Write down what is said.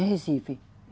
Em Recife.